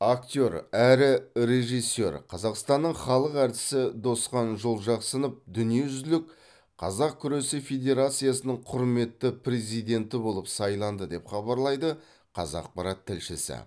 актер әрі режиссер қазақстанның халық әртісі досхан жолжақсынов дүниежүзілік қазақ күресі федерациясының құрметті президенті болып сайланды деп хабарлайды қазақпарат тілшісі